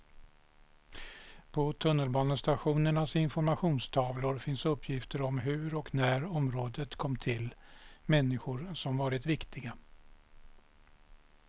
På tunnelbanestationernas informationstavlor finns uppgifter om hur och när området kom till, människor som varit viktiga.